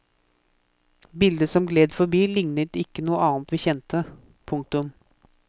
Bildet som gled forbi lignet ikke noe annet vi kjente. punktum